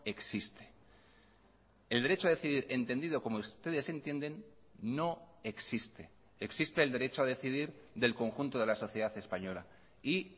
existe el derecho a decidir entendido como ustedes entienden no existe existe el derecho a decidir del conjunto de la sociedad española y